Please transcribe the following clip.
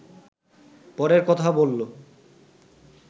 পরের কথা বললো